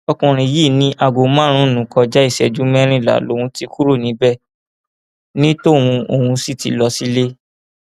ọkùnrin yìí ní aago márùnún kọjá ìṣẹjú mẹrìnlá lòún ti kúrò níbẹ ní tóun òun sì ti lọ sílé